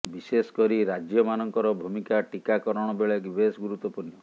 ବିଶେଷ କରି ରାଜ୍ୟମାନଙ୍କର ଭୂମିକା ଟିକାକରଣ ବେଳେ ବେଶ ଗୁରୁତ୍ୱପୂର୍ଣ୍ଣ